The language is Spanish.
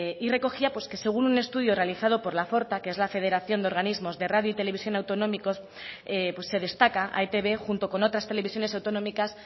y recogía pues que según un estudio realizado por la forta que es la federación de organismos de radio y televisión autonómicos pues se destaca a etb junto con otras televisiones autonómicas